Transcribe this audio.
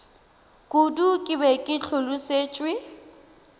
kudu ke be ke hlolosetšwe